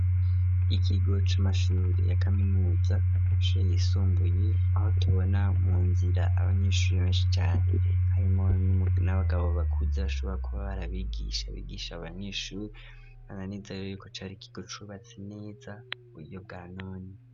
Ikigo c'amashuri ya kaminuza, amashure yisumbuye aho tubona mu nzira abanyeshuri benshi cane harimwo n'abagabo bakuze bashoboka kuba bari abigisha, bigisha abanyeshuri, nkaba nizera neza rero yuko cari kigo cubatse neza mu buyo bwa none.